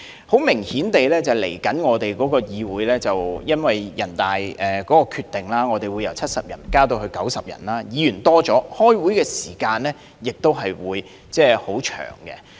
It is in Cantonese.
很明顯，由於人大的決定，未來議會議員將由70名增加至90名，議員數目增加，開會時間亦會變長。